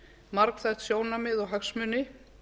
margþætt sjónarmið og hagsmuni